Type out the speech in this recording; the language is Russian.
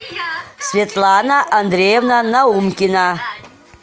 светлана андреевна наумкина